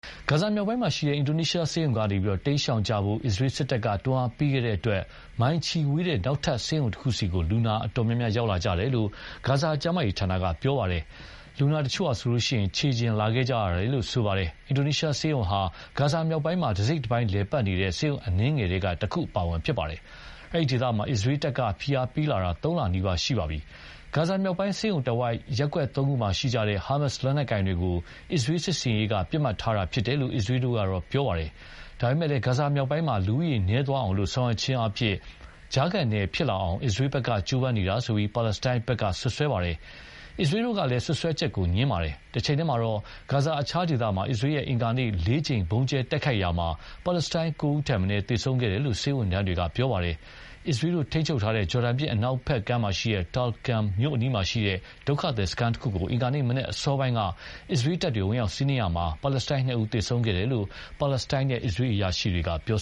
ဂါဇာမြောက်ပိုင်းက Indonesian ဆေးရုံကနေ တိမ်းရှောင်ကြဖို့ အစ္စရေးစစ်တပ်က တွန်းအားပေးခဲ့တဲ့အတွက် မိုင်ချီဝေးတဲ့ နောက်ထပ်ဆေးရုံတခုဆီလူနာအတော်များများရောက်လာကြတယ်လို့ ဂါဇာကျန်းမာရေးဌာနက ပြောပါတယ်။ လူနာတချို့ဆိုရင် ခြေကျင်လာခဲ့ကြတာလို့လည်းပြောပါတယ်။ Indonesian ဆေးရုံဟာ ဂါဇာမြောက်ပိုင်းမှာ တစိတ်တပိုင်းလည်ပတ်နေတဲ့ ဆေးရုံအနည်းငယ်ထဲက တခုအပါအဝင်ဖြစ်ပါတယ်။ ဒီဒေသမှာ အစ္စရေးတပ်က ဖိအားပေးလာတာ ၃ လနီးပါးရှိပါပြီ။ ဂါဇာမြောက်ပိုင်းဆေးရုံတဝိုက် ရပ်ကွက် ၃ ခုမှာရှိကြတဲ့ ဟာမတ်စ်လက်နက်ကိုင်တို့ကို အစ္စရေးလ်စစ်ဆင်ရေးက ပစ်မှတ်ထားတာဖြစ်တယ်လို့ အစ္စရေးလ်တို့က ပြောပါတယ်။ ဒါပေမယ့်လည်း ဂါဇာမြောက်ပိုင်းမှာ လူဦးရေနည်းသွားအောင် ဆောင်ရွက်ခြင်းအားဖြင့် ကြားခံနယ်ဖြစ်လာအောင် အစ္စရေးလ်တို့က ကြိုးပမ်းနေတာလို့ ပါလက်စတိုင်းတို့က စွပ်စွဲပါတယ်။ အစ္စရေးလ်တို့ကလည်း စွပ်စွဲချက်ကို ငြင်းဆိုပါတယ်။ တချိန်တည်းမှာပဲ ဂါဇာအခြားဒေသမှာ အစ္စရေးလ်ရဲ့ အင်္ဂါနေ့ က ၄ ကြိမ် ဗုံးကြဲတိုက်ခိုက်ခဲ့တာမှာ ပါလက်စတိုင်း ၉ ဦးထက်မနည်းသေဆုံးခဲ့တယ်လို့ဆေးဝန်ထမ်းတွေက ပြောပါတယ်။အစ္စရေးလ်တို့ ထိန်းချုပ်ထားတဲ့ ဂျော်ဒန်မြစ်အနောက်ဘက်ကမ်း Tulkarm မြို့အနီးမှာရှိတဲ့ ဒုက္ခသည်စခန်းတခုကို အင်္ဂါနေ့မနက်အစောပိုင်းက အစ္စရေးလ်တပ်တွေ ဝင်ရောက်စီးနင်းမှုမှာ ပါလက်စတိုင်း ၂ ဦးသေဆုံးခဲ့တယ်လို့ ပါလက်စတိုင်းနဲ့ အစ္စရေးအရာရှိတွေက ပြော